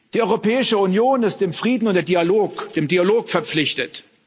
Die Europäische Union ist dem Frieden und dem Dialog verpflichtet.